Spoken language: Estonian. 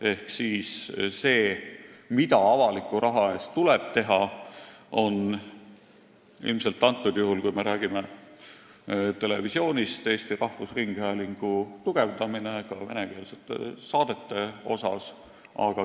Ehk see, mida avaliku raha eest tuleb teha, on praegusel juhul, kui me räägime televisioonist, Eesti Rahvusringhäälingu tugevdamine venekeelsete saadete poolest.